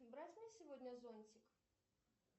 брать мне сегодня зонтик